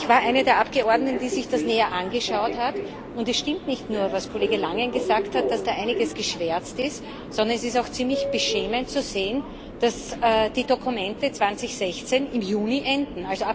Ich war eine der Abgeordneten, die sich das näher angeschaut haben, und es stimmt nicht nur, was Kollege Langen gesagt hat, dass da einiges geschwärzt ist, sondern es ist auch ziemlich beschämend zu sehen, dass die Dokumente 2016 im Juni enden.